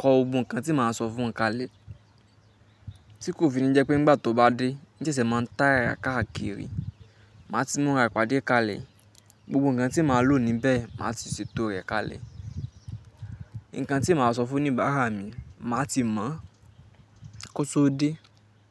kọ gbogbo kan tí màá sọ fún un kalẹ̀. Tí kò fi ni jẹ́ pé nígbà tó bá dé níẹsẹ̀ máa ń tọ́ rẹ̀ káàkiri. Màá ti múra ìpàdé kalẹ̀. Gbogbo ǹkan tí màá lò níbẹ̀, màá ti ṣètò rẹ̀ kalẹ̀. Ǹkan tí màá sọ fún oníbàárà mi, màá ti mọ̀ kó tó dé.